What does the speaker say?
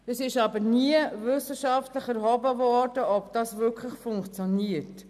Es wurde aber nie wissenschaftlich untersucht, ob das wirklich funktioniert.